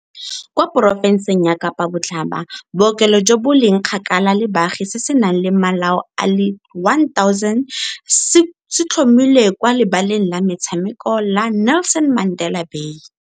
Kwa porofenseng ya Kapa Botlhaba, bookelo jo bo leng kgakala le baagi se se nang le malao a le1 000 se tlhomilwe kwa Lebaleng la Metshameko la Nelson Mandela Bay.